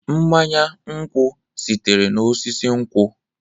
Mmanya nkwọ sitere n'osisi nkwọ.